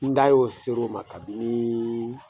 N da y'o ser'o ma kabini